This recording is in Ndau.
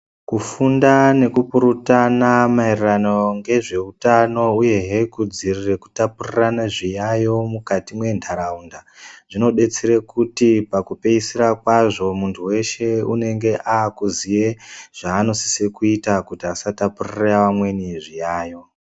Kufunda nekupururtana maererano nezveutano uyehe kudziirire kutapurirane zviyayo mukati mwentaraunda zvinodetsere kuti pakupeisira kwazvo muntu weshe unenge akuziye zvaanosise kuita kuti asatapurire amweni zviyayo.